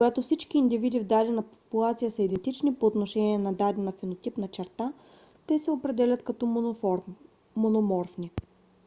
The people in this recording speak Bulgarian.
когато всички индивиди в дадена популация са идентични по отношение на дадена фенотипна черта те се определят като мономорфни